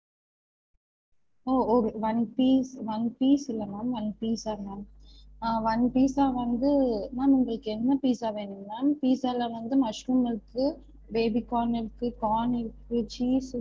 ஒ ஒ one piece one piece இல்ல ma'am onepizza ma'am ஆஹ் one pizza வந்து ma'am உங்களுக்கு என்ன pizza வேணும் ma'am pizza ல வந்து mushroom இருக்கு baby corn இருக்கு corn இருக்கு cheese